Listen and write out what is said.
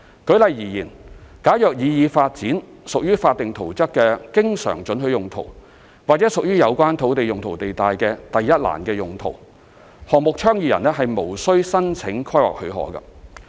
舉例而言，假如擬議發展屬法定圖則的經常准許用途，或屬於有關土地用途地帶的"第一欄"用途，項目倡議人無須申請規劃許可。